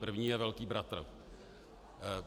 První je velký bratr.